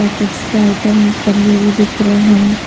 और गिफ्ट्स के आइटम टंगे हुए दिख रहे हैं।